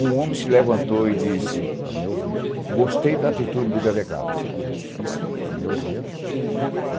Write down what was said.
Um homem se levantou e disse, gostei da atitude do delegado.